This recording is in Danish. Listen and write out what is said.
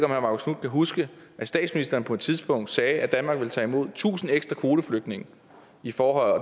herre marcus knuth kan huske at statsministeren på et tidspunkt sagde at danmark ville tage imod tusind ekstra kvoteflygtninge for